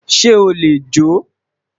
se o le jo?